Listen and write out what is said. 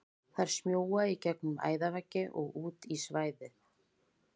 Þær smjúga í gegnum æðaveggi og út í svæðið.